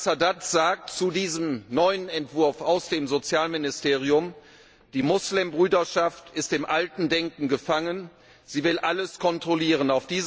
Und Anwar al Sadat sagt zu diesem neuen Entwurf aus dem Sozialministerium Die Moslembruderschaft ist in altem Denken gefangen, sie will alles kontrollieren.